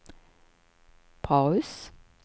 paus